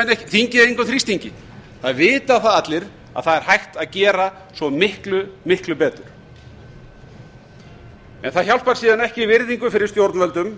menn engum þrýstingi það vita það allir að það er hægt að gera svo miklu miklu betur það hjálpar síðan ekki virðingu fyrir stjórnvöldum